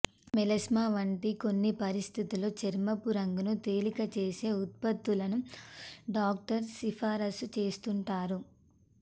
melasma వంటి కొన్ని పరిస్థితుల్లో చర్మపు రంగును తేలిక చేసే ఉత్పత్తులను డాక్టర్లు సిఫారసు చేస్తుంటారు